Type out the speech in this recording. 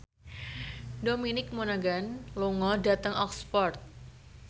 Dominic Monaghan lunga dhateng Oxford